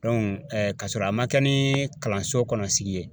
kasɔrɔ a ma kɛ ni kalanso kɔnɔ sigi ye